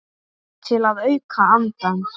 Til að auka andann.